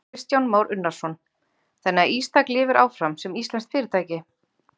Kristján Már Unnarsson: Þannig að Ístak lifir áfram sem íslenskt fyrirtæki?